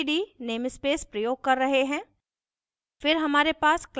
यहाँ हम std namespace प्रयोग कर रहे हैं